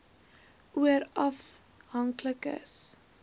oor afhanklike s